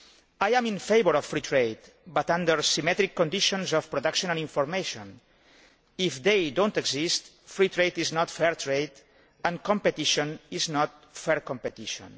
I am in favour of free trade, but under symmetric conditions of production and information. If they do not exist, free trade is not fair trade and competition is not fair competition.